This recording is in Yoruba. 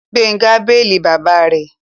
Gbénga béèlì bàbá rẹ̀